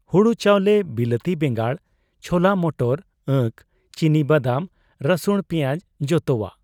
ᱦᱩᱲᱩ ᱪᱟᱣᱞᱮ, ᱵᱤᱞᱟᱹᱛᱤ ᱵᱮᱸᱜᱟᱲ, ᱪᱷᱚᱞᱟ ᱢᱚᱴᱚᱨ, ᱟᱹᱠ, ᱪᱤᱱᱤᱵᱚᱫᱟᱢ, ᱨᱟᱹᱥᱩᱬ, ᱯᱮᱭᱟᱸᱡᱽ ᱡᱚᱛᱚᱣᱟᱜ ᱾